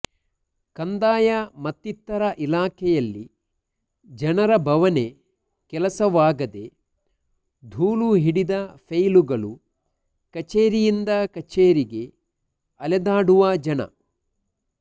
ಕಂದಾಯ ಮತ್ತಿತರ ಇಲಾಖೆಯಲ್ಲಿ ಜನರ ಬವಣೆ ಕೆಲಸವಾಗದೆ ಧೂಳು ಹಿಡಿದ ಫೈಲುಗಳು ಕಚೇರಿಯಿಂದ ಕಛೇರಿಗೆ ಅಲೆದಾಡುವ ಜನ